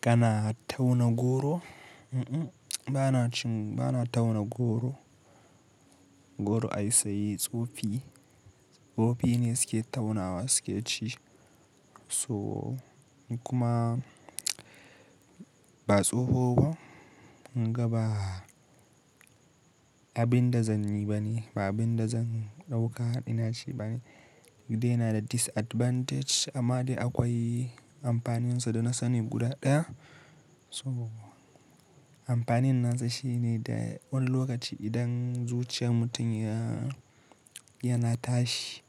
Kana tauna goro? Um um, bana cin, bana tauna goro. Goro ai sai tsofi, tsofi ne suke taunawa suke ci. To kuma ba tsoho ba, gaba abin dazanyi ba ne, ba abin da zan ɗauka ina ci ba ne. Dai yana da disadvantage amma dai akwai amfaninsa da na sani guda ɗaya. To amfanin nasa shine da wani lokaci idan zuciyan mutum ya, yana tashi